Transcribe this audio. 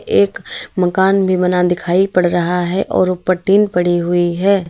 एक मकान भी बना दिखाई पड़ रहा है और ऊपर टीन पड़ी हुई है।